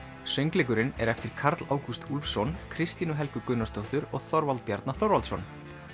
söngleikurinn er eftir Karl Ágúst Úlfsson Kristínu Helgu Gunnarsdóttur og Þorvald Bjarna Þorvaldsson